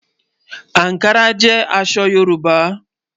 Ànkárà jẹ́ àṣọ̀ Yorùbá.